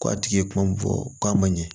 Ko a tigi ye kuma min fɔ k'a ma ɲɛ